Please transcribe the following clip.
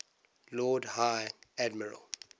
lord high admiral